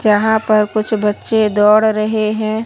जहां प कुछ बच्चे दौड़ रहे हैं।